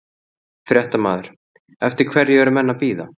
Fréttamaður: Eftir hverju eru menn að bíða?